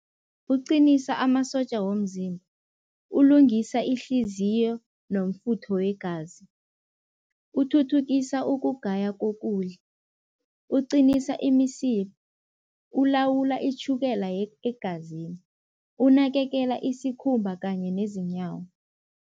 Uqinisa amasotja womzimba, ulungisa ihliziyo nomfutho wegazi, uthuthukisa ukugaya kokudla, uqinisa imisipha, ulawulwa itjhukela egazini, unakekela isikhumba kanye nezinyawo.